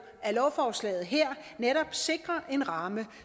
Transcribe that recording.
at lovforslaget her netop sikrer en ramme